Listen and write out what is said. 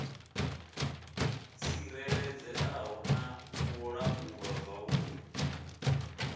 tsireledzeaho na u langulwa zwavhudi